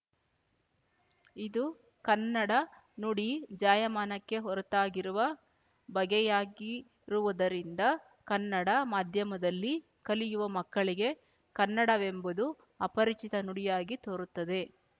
ಇದು ಕನ್ನಡ ನುಡಿ ಜಾಯಮಾನಕ್ಕೆ ಹೊರತಾಗಿರುವ ಬಗೆಯಾಗಿರುವುದರಿಂದ ಕನ್ನಡ ಮಾಧ್ಯಮದಲ್ಲಿ ಕಲಿಯುವ ಮಕ್ಕಳಿಗೆ ಕನ್ನಡವೆಂಬುದು ಅಪರಿಚಿತ ನುಡಿಯಾಗಿ ತೋರುತ್ತದೆ